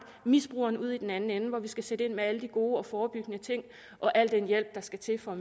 misbrugeren ude i den anden ende hvor vi skal sætte ind med alle de gode og forebyggende ting og al den hjælp der skal til for